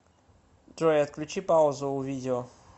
джой отключи паузу у видео